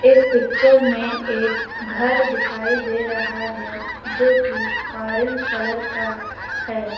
इस पिक्चर में एक घर दिखाई दे रहा है जो की ऑरेंज कलर का है।